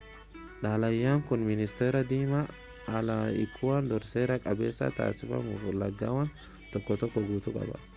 xalayaan kun ministeera dhimma alaa ikuwaadoor'n seera qabeessa taasifamuu fi ulaagaawwan tokko tokko guutuu qaba